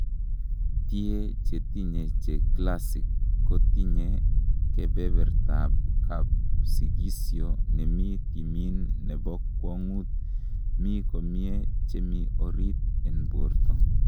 Tie chetinye che classic kotinye keberbertab kaspsikisio nemi timin nebo kwong'ut mi komie chemi orit n borto.